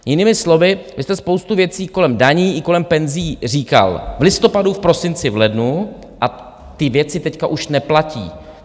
- Jinými slovy, vy jste spoustu věcí kolem daní i kolem penzí říkal v listopadu, v prosinci, v lednu, a ty věci teď už neplatí.